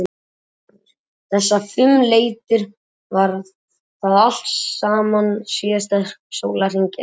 Fréttamaður: Þessar fimm leitir, var það allt saman síðasta sólarhring eða?